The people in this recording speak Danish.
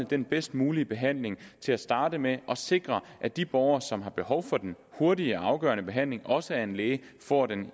den bedst mulige behandling til at starte med og sikrer at de borgere som har behov for den hurtige og afgørende behandling også af en læge får den